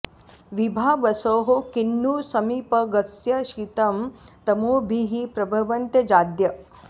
विभावसोः किं नु समीपगस्य शीतं तमो भीः प्रभवन्त्यजाद्य